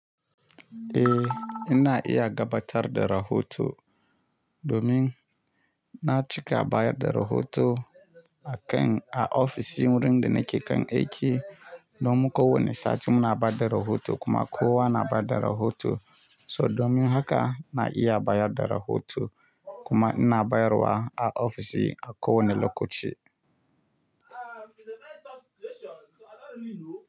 Eh ina iya gabatar da rahoto domin na cika bayar da rahoto akan a ofisin wurin da nake kan aiki. Domin ko wane sati muna ba da rahoto kuma kowa na ba da rahoto. So domin haka na iya bayar da rahoto kuma ina bayarwa a ofishi a ko wane lokaci.